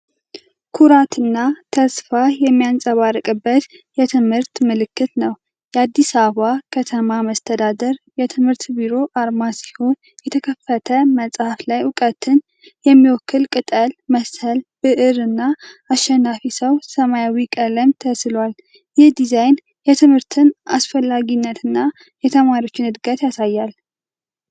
ኩራትና ተስፋ የሚንጸባረቅበት የትምህርት ምልክት ነው። የአዲስ አበባ ከተማ መስተዳደር የትምህርት ቢሮ አርማ ሲሆን፣ የተከፈተ መጽሐፍ ላይ እውቀትን የሚወክል ቅጠል መሰል ብዕር እና አሸናፊ ሰው ሰማያዊ ቀለም ተስሏል። ይህ ዲዛይን የትምህርትን አስፈላጊነትና የተማሪዎችን እድገት ያሳያል።